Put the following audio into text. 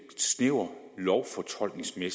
i